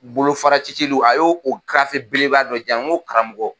Bolo fara cicilw a ye o gafe belebele ba dɔ yan . Ngo karamɔgɔ